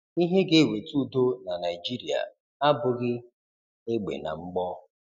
Ihe ga eweta udo na Naịjịrịa abụghị egbe na mgbọ.